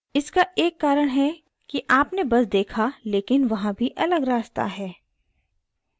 इसका एक कारण है कि आपने बस देखा लेकिन वहाँ भी अलग रास्ता है